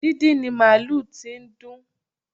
Díndín ni màlúù tí dùn